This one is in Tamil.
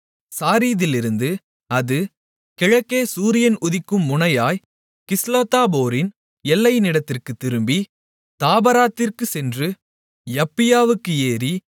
சாரீதிலிருந்து அது கிழக்கே சூரியன் உதிக்கும் முனையாய்க் கிஸ்லோத்தாபோரின் எல்லையினிடத்திற்குத் திரும்பி தாபராத்திற்குச் சென்று யப்பியாவுக்கு ஏறி